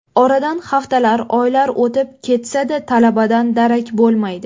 Oradan haftalar, oylar o‘tib ketsa-da, talabadan darak bo‘lmaydi.